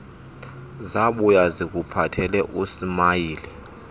zabuya zikuphathele usmayili